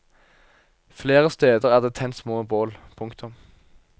Flere steder er det tent små bål. punktum